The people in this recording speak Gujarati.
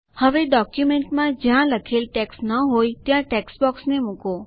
હવે ડોક્યુમેન્ટમાં જ્યાં લખેલ ટેક્સ્ટ ન હોય ત્યાં ટેક્સ્ટબોક્સને મુકો